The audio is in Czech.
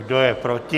Kdo je proti?